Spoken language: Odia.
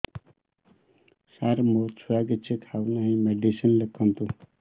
ସାର ମୋ ଛୁଆ କିଛି ଖାଉ ନାହିଁ ମେଡିସିନ ଲେଖନ୍ତୁ